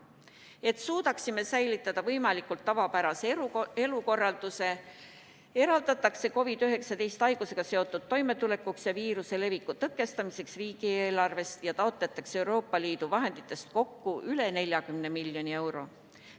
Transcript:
Et suudaksime säilitada võimalikult tavapärase elukorralduse, eraldatakse COVID-19 haigusega seotud probleemidega toimetulekuks ja viiruse leviku tõkestamiseks riigieelarvest ja taotletakse Euroopa Liidu vahenditest kokku üle 40 miljoni euro.